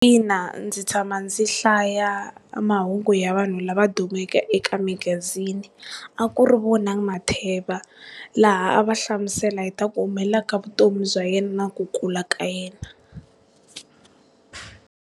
Ina, ndzi tshama ndzi hlaya mahungu ya vanhu lava dumeke eka magazini, a ku ri Vonani Matheva, laha a va hlamusela hi ta ku humelela ka vutomi bya yena na ku kula ka yena.